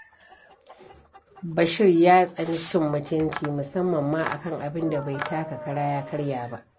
Bashir ya tsani cin mutunci, musamman ma a kan abin da bai taka kara, ya karya ba.